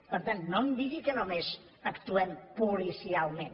per tant no em digui que només actuem policialment